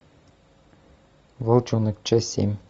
волчонок часть семь